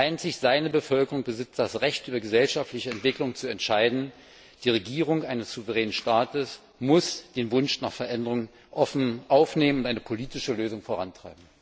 Einzig seine Bevölkerung besitzt das Recht, über gesellschaftliche Entwicklungen zu entscheiden. Die Regierung eines souveränen Staates muss den Wunsch nach Veränderung offen aufnehmen und eine politische Lösung vorantreiben.